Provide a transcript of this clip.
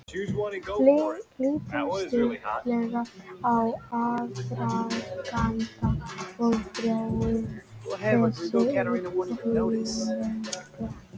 Lítum stuttlega á aðdraganda og þróun þessarar útrýmingar.